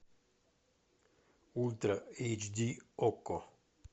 ультра эйч ди окко